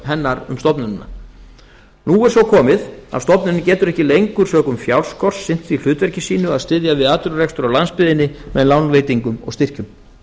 hennar um stofnunina nú er svo komið að stofnunin getur ekki lengur sökum fjárskorts sinnt því hlutverki sínu að styðja við atvinnurekstur á landsbyggðinni með lánveitingum og styrkjum